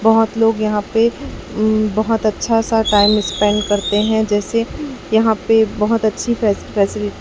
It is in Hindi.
बहोत लोग यहाँ पे अं बहोत अच्छा सा टाइम स्पेंड करते हैं जैसे यहाँ पे बहोत अच्छी फै फैसिलिटी --